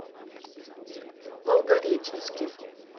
волгореченске